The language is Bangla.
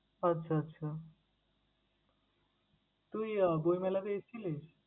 আচ্ছা আচ্ছা! তুই আহ বইমেলাতে এসেছিলিস?